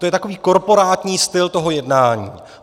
To je takový korporátní styl toho jednání.